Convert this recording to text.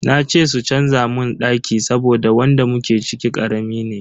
Na ce su canza mun daki saboda wanda muke ciki karami ne.